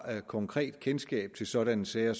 konkret kendskab til sådanne sager